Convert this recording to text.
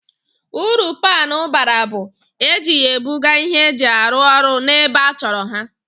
Uru paanụ bara bụ, e ji ya e buga ihe eji arụ orụ n'ebe a chọrọ ha